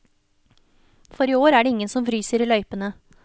For i år er det ingen som fryser i løypene.